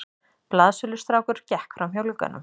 Blaðsölustrákur gekk framhjá glugganum.